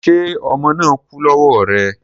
Ṣé ọmọ náà kú lọ́wọ́ rẹ